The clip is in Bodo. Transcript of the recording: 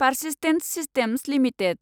Persistent systems limited